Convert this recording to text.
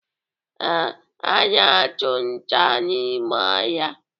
Ee, ha na-achụ nta n'ime ọhịa.